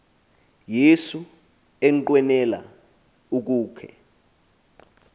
yesu enqwenela ukukhe